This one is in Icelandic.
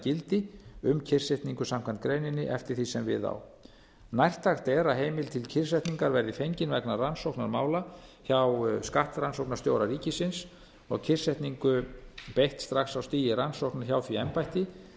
gildi um kyrrsetningu samkvæmt greininni eftir því sem við á nærtækt er að heimild til kyrrsetningar verði fengin vegna rannsóknar mála hjá skattrannsóknarstjóra ríkisins og kyrrsetningu beitt strax á stigi rannsóknar hjá því embætti